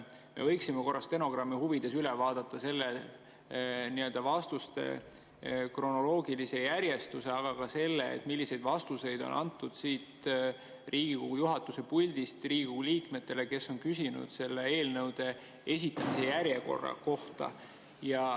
Me võiksime korra stenogrammi huvides üle vaadata vastuste kronoloogilise järjestuse, aga ka selle, milliseid vastuseid on antud Riigikogu juhatuse puldist Riigikogu liikmetele, kes on küsinud eelnõude esitamise järjekorra kohta.